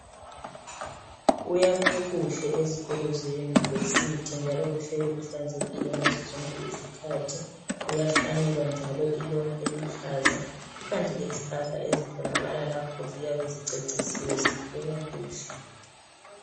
Kuyakhwe kuhle ezikolo zeyunivesithi njalo kuhleli kuhlanzekile ngazo zonke izikhathi, kuyahlanyelwa njalo i loni eluhlaza, ikanti lezihlahla ezitholakala lapho ziyabe zicecisiwe zibukeka kuhle.